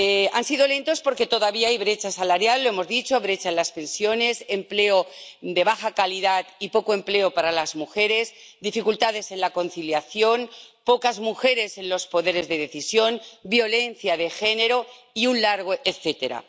Han sido lentos porque todavía hay brecha salarial —lo hemos dicho—, brecha en las pensiones, empleo de baja calidad y poco empleo para las mujeres, dificultades en la conciliación, pocas mujeres en los poderes de decisión, violencia de género y un largo etcétera.